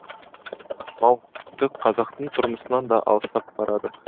мал тіпті қазақтың тұрмысынан да алыстап барады